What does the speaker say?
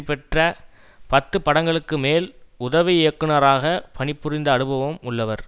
பெற்ற பத்து படங்களுக்கு மேல் உதவி இயக்குனராக பணிபுரிந்த அனுபவம் உள்ளவர்